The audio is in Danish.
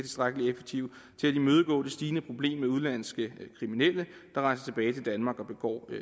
imødegå det stigende problem med udenlandske kriminelle der rejser tilbage til danmark og begår